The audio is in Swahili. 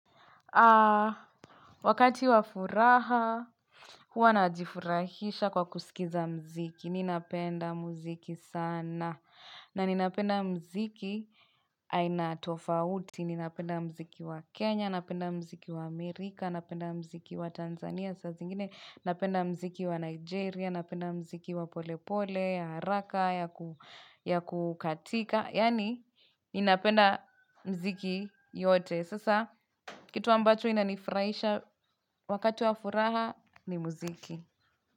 Wakati wa furaha huwa najifurahisha kwa kusikiza mziki ninapenda mziki sana na ninapenda mziki aina tofauti ninapenda mziki wa kenya napenda mziki wa amerika napenda mziki wa tanzania napenda mziki wa nigeria napenda mziki wa polepole ya haraka ya kukatika yani ninapenda mziki yote sasa kitu ambacho inanifuraisha wakati wa furaha ni muziki.